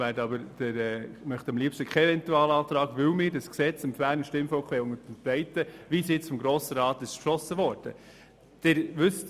Wir möchten aber am liebsten keinen Eventualantrag, weil wir das StG dem Berner Stimmvolk so unterbreiten möchten, wie es vom Grossen Rat beschlossen worden ist.